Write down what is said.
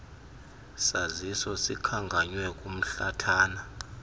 saziso sikhankanywe kumhlathana